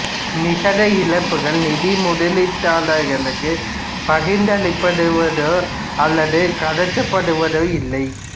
நிகர இழப்புகள் நிதி முதலீட்டாளர்களுக்குப் பகிர்ந்தளிக்கப்படுவதோ அல்லது கடத்தப்படுவதோ இல்லை